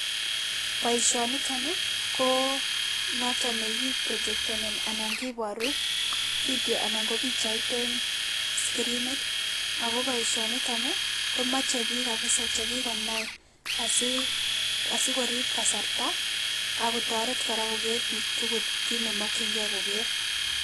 Boishonitonii koo noton nekiibrijekteni anankiboru video anan kobichait een, skirinit akoo boishonitonii komoche biik kabisa chekikonai asii, asii korib kasarta akotoret kora koker biik tukul kiit neemokyingei koker